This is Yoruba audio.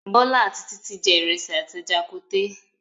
Bọ́lá àti Títí jẹ ìrẹsì àti ẹja koté.